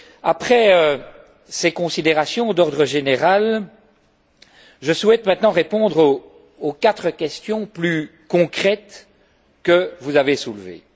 Après ces considérations d'ordre général, je souhaite maintenant répondre aux quatre questions plus concrètes que vous avez soulevées.